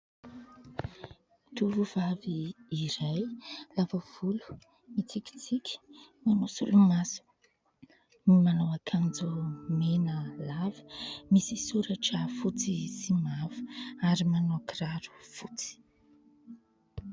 Tovovavy iray lava volo mitsikitsiky manao solo maso, manao ankanjo mena lava misy soratra fotsy sy mavo ary manao kiraro fotsy.